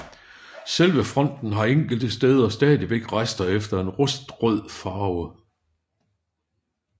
Selve fonten har enkelte steder stadigvæk rester efter en rustrød farve